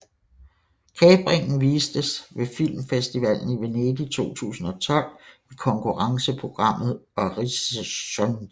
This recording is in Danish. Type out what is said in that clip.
Kapringen vistes ved Filmfestivalen i Venedig 2012 i konkurrenceprogrammet Orizzonti